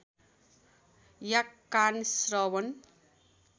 या कान श्रवण